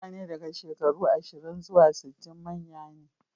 Mutane daga shekaru ashirin zuwa sittin manya ne.